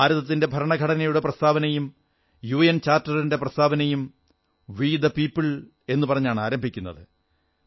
ഭാരതത്തിന്റെ ഭരണഘടനയുടെ പ്രസ്താവനയും യുഎൻ ചാർട്ടറിന്റെ പ്രസ്ഥാവനയും വി ദ് പീപിൾ എന്നു പറഞ്ഞാണ് ആരംഭിക്കുന്നത്